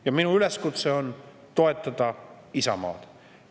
Ja minu üleskutse on toetada Isamaad.